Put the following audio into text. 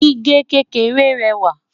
gígé kékeré réwà